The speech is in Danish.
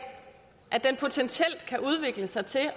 at den potentielt kan udvikle sig til